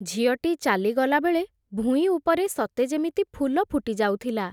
ଝିଅଟି ଚାଲିଗଲାବେଳେ, ଭୁଇଁ ଉପରେ ସତେ ଯେମିତି ଫୁଲ ଫୁଟିଯାଉଥିଲା ।